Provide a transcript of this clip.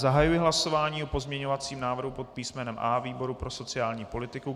Zahajuji hlasování o pozměňovacím návrhu pod písmenem A výboru pro sociální politiku.